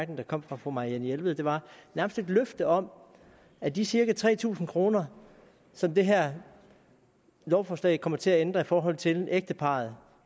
der kom fra fru marianne jelved var nærmest et løfte om at de cirka tre tusind kr som det her lovforslag kommer til at ændre i forhold til ægteparret